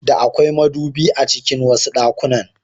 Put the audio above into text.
Da akwai madubi a cikin wasu ɗakunan.